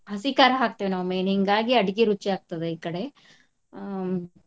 ಹಸಿ ಕಾರಾ ಹಾಕ್ತೇವ ನಾವ್ main ಹಿಂಗಾಗಿ ಅಡಿಗೆ ರುಚಿ ಆಗ್ತದ ಈ ಕಡೆ ಆ.